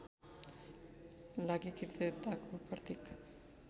लागि कृतज्ञताको प्रतीक